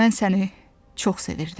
Mən səni çox sevirdim.